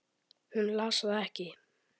Hún las það ekki.